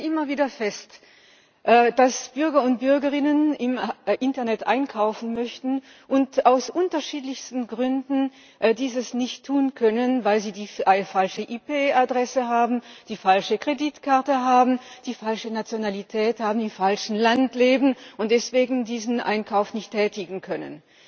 Wir stellen immer wieder fest, dass Bürger und Bürgerinnen im Internet einkaufen möchten und dies aus unterschiedlichsten Gründen nicht tun können weil sie eine falsche IPAdresse haben, die falsche Kreditkarte haben, die falsche Nationalität haben, im falschen Land leben und deswegen diesen Einkauf nicht tätigen können.